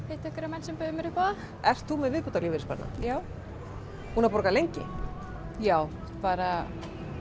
hitti einhverja menn sem buðu mér upp á það ert þú með viðbótarlífeyrissparnað já búin að borga lengi já bara